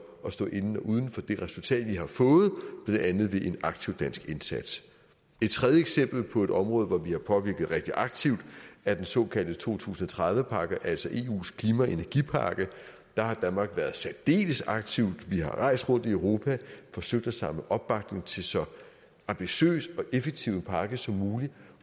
at stå inden uden for det resultat vi har fået blandt andet ved en aktiv dansk indsats et tredje eksempel på et område hvor vi har påvirket rigtig aktivt er den såkaldte to tusind og tredive pakke altså eus klima og energipakke der har danmark været særdeles aktiv vi har rejst rundt i europa og forsøgt at samle opbakning til så ambitiøs og effektiv en pakke som muligt